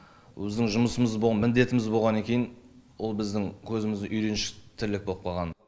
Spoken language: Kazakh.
біздің жұмысымыз міндетіміз боғаннан кейін ол біздің көзіміз үйреншікті тірлік болып қалған